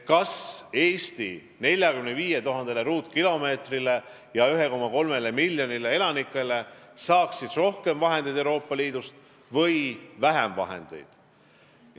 Kas Eesti oma 45 000 ruutkilomeetri ja 1,3 miljoni elanikuga saaks siis Euroopa Liidust rohkem või vähem vahendeid?